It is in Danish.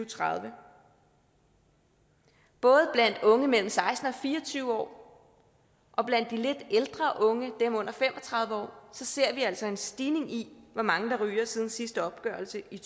tredive både blandt unge mellem seksten og fire og tyve år og blandt de lidt ældre unge dem under fem og tredive år ser vi altså en stigning i hvor mange der ryger siden sidste opgørelse i